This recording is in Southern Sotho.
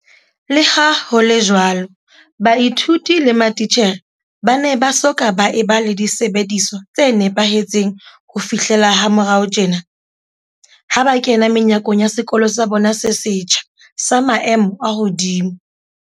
Leha ho le jwalo, baithuti le mati tjhere ba ne ba soka ba eba le disebediswa tse nepahe tseng ho fihlela ha morao tjena, ha ba kena menyakong ya sekolo sa bona se setjha, sa maemo a hodimo.